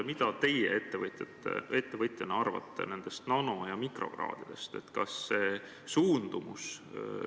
Mida teie ettevõtjana arvate nendest nano- ja mikrokraadidest?